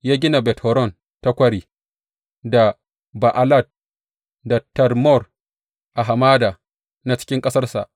Ya gina Bet Horon ta Kwari, da Ba’alat, da Tadmor a hamada, na cikin ƙasarsa.